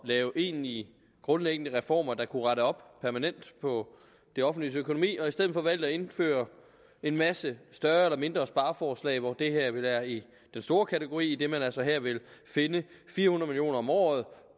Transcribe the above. at lave egentlige grundlæggende reformer der permanent kunne rette op på det offentliges økonomi og i stedet for har valgt at indføre en masse større eller mindre spareforslag hvoraf det her vel er i den store kategori idet man altså her vil finde fire hundrede om året